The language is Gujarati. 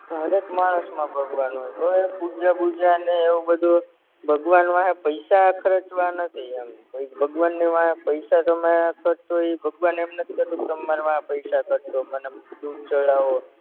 હરેક માણસમાં ભગવાન હોય પૂજા બુજા ને એવું બધુય ભગવાન વાહે પૈસા ખરચવા નથી એમ પછી ભગવાનની વાહે પૈસા તમે ખર્ચો ઇ ભગવાન એમ નથ કેતા કે તમ મારી વાહે પૈસા ખર્ચો મને દૂધ ચડાવો